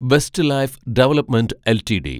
Westlife development LTD